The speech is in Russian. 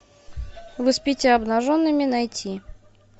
вы спите обнаженными найти